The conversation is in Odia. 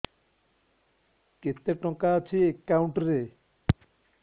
କେତେ ଟଙ୍କା ଅଛି ଏକାଉଣ୍ଟ୍ ରେ